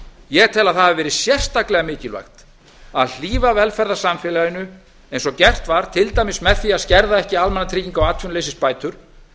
ég tel að það hafi verið sérstaklega mikilvægt að hlífa velferðarsamfélaginu eins og gert var til dæmis með því að skerða ekki almannatrygginga og atvinnuleysisbætur